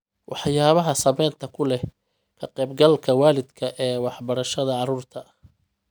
Waxyaabaha Saamaynta Ku Leh Ka Qayb-galka Waalidka ee Waxbarashada Carruurta